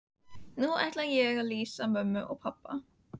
Nú ætla ég að lýsa mömmu og pabba.